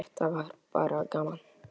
Þetta var bara gaman.